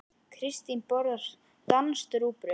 Kristín borðar danskt rúgbrauð.